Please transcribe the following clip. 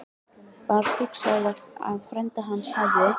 Var hugsanlegt að frændi hans hefði